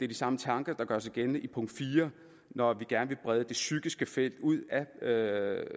de samme tanker der gør sig gældende i punkt fire når vi gerne vil brede det psykiske felt ud